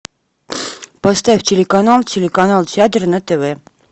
поставь телеканал телеканал театр на тв